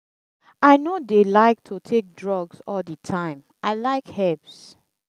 i no dey like to take drugs all the time i like herbs.